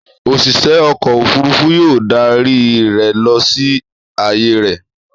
Òṣìṣẹ́ ọkọ̀-òfurufú yóò darí rẹ lọ sí ààyè rẹ.